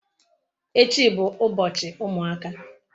Echi bu ubochi umuaka.